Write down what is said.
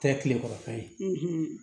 Tɛ tilekɔrɔ fɛn ye